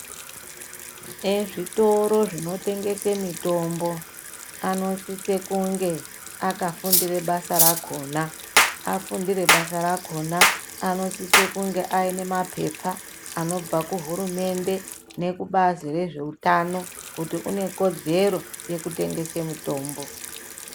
Ezvitoro zvinotengese mitombo anosise kunge akafundire basa rakona. Afundire basa rakona, anosise kunge ane mapepa anobva kuhurumende nekubazi rezveutano kut une kodzero yekutengese mitombo.